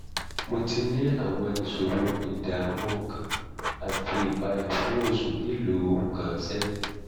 mo ti ní àwọn ìṣòro ìdààmú ọkàn àti ìpayà fún oṣù mélòó kan sẹ́yìn